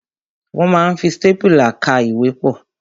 Wọ́n ma ń fi stápùlà ká ìwé pọ̀.